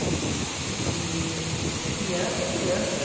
E eu acho que criança é criança.